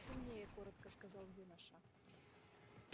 сильнее коротко сказал юноша